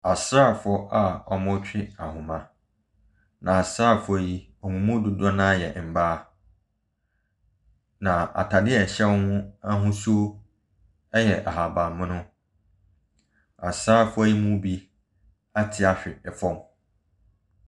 Asrafoɔ a wɔretwe ahomaa. Na asrafoɔ yi, wɔn mu dodoɔ no ara yɛ mmbaa. Na ataadeɛ a ɛhyɛ wɔn no ahosuo yɛ ahabanmono. Asrafoɔ yi mu bi ate ahyɛ fam.